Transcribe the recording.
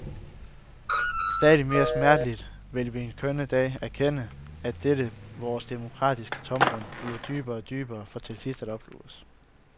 Stadig mere smerteligt vil vi en skønne dag erkende, at dette vores demokratiske tomrum bliver dybere og dybere for til sidst at opsluge os.